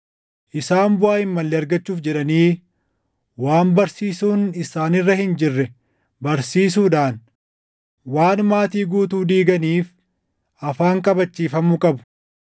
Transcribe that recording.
Isaan buʼaa hin malle argachuuf jedhanii waan barsiisuun isaan irra hin jirre barsiisuudhaan waan maatii guutuu diiganiif afaan qabachiifamuu qabu.